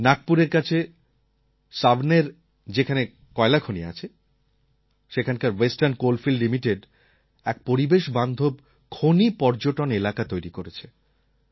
নাগপুরের কাছে সাওনেরএ যেখানে কয়লাখনি আছে সেখানকার ওয়েস্টার্ণ কোলফিল্ড লিমিটেড এক পরিবেশ বান্ধব খনি পর্যটন এলাকা তৈরি করেছে